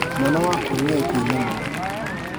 Mwana wakwa nĩ oĩ kũina mũno